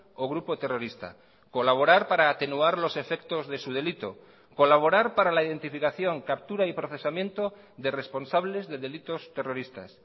o grupo terrorista colaborar para atenuar los efectos de su delito colaborar para la identificación captura y procesamiento de responsables de delitos terroristas